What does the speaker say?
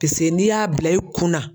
Peseke n'i y'a bila i kun na